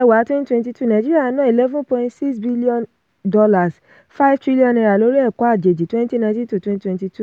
kẹwàá twenty twenty two nàìjíríà ná eleven point six billion dollars five trillion naira lórí ẹ̀kọ́ àjòjì twenty nineteen-twenty twenty two